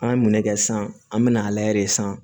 An ye minɛ kɛ san an mɛna a layɛ de sisan